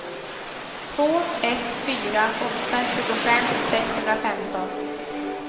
två ett fyra åtta tjugofem sexhundrafemton